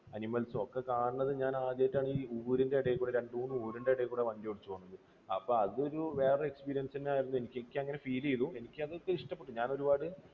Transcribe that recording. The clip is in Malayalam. animals ഉം ഒക്കെ കാണുന്നത് ഞാൻ ആദ്യമായിട്ടാണ് ഈ ഊരിന്റെ ഇടയിൽ കൂടെ, രണ്ടുമൂന്ന് ഊരിന്റെ ഇടയിൽ കൂടെ വണ്ടി ഓടിച്ചു പോകുന്നത്. അപ്പോൾ അതൊരു വേറെ experience തന്നെയായിരുന്നു. എനിക്ക് അങ്ങനെ feel ചെയ്തു. എനിക്ക് അതൊക്കെ ഇഷ്ടപ്പെട്ടു. ഞാൻ ഒരുപാട്